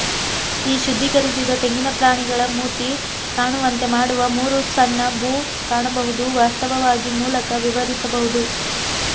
ಈ ಶುದ್ಧೀಕರಿಸಿದ ತೆಂಗಿನ ಪ್ರಾಣಿಗಳ ಮೂತಿ ಕಾಣುವಂತೆ ಮಾಡುವ ಮೂರು ಸಣ್ಣ ಭೂ ಕಾಣಬಹುದು ವಾಸ್ತವವಾಗಿ ಮೂಲಕ ವಿವರಿಸಬಹುದು